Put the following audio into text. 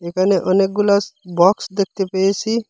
এখানে অনেকগুলাস বক্স দেখতে পেয়েছি।